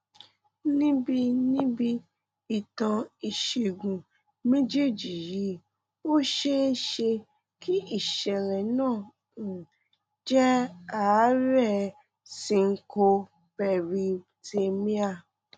níbi níbi ìtàn ìṣègùn méjèèjì yìí ó ṣeé ṣe kí ìṣẹlẹ náà um jẹ àárẹ syncopearrhythmia